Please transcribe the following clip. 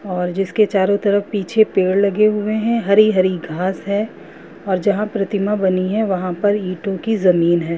और जिसके चारो तरफ पीछे पेड़ लगे हुए है हरी-हरी घास है और जहाँ प्रतिमा बनी है वहाँ पर ईटो --